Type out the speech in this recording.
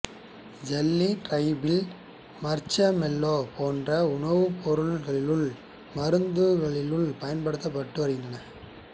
jelly trifle marshmallow போன்ற உணவுப்பொருட்களிலும் மருந்து குளிகைகளிலும் பயன்படுத்தப்பட்டு வருகின்றது